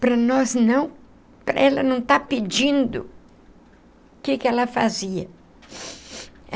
Para nós não... para ela não estar pedindo... o que que ela fazia?